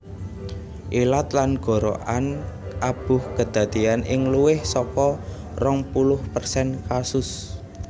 Ilat lan gorokan abuh kedadeyan ing luwih saka rong puluh persen kasus